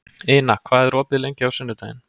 Ina, hvað er opið lengi á sunnudaginn?